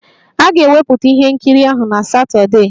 A ga-ewepụta ihe nkiri ahụ na Satọdee